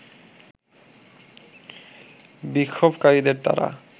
বিক্ষোভকারীদের তারা